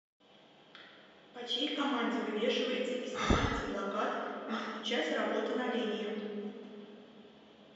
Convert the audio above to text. по чьей команде вывешивается и снимается плакат не включать работа на линии